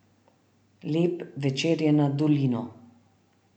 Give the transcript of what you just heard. Lep večer je nad dolino.